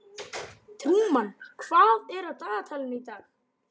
Trúmann, hvað er á dagatalinu í dag?